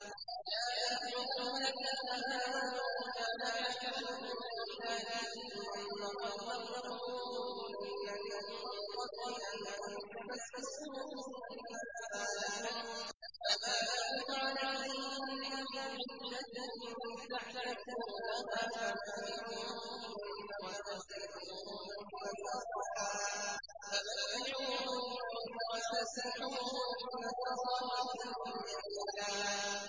يَا أَيُّهَا الَّذِينَ آمَنُوا إِذَا نَكَحْتُمُ الْمُؤْمِنَاتِ ثُمَّ طَلَّقْتُمُوهُنَّ مِن قَبْلِ أَن تَمَسُّوهُنَّ فَمَا لَكُمْ عَلَيْهِنَّ مِنْ عِدَّةٍ تَعْتَدُّونَهَا ۖ فَمَتِّعُوهُنَّ وَسَرِّحُوهُنَّ سَرَاحًا جَمِيلًا